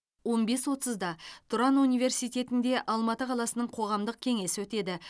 он бес отызда тұран университетінде алматы қаласының қоғамдық кеңесі өтеді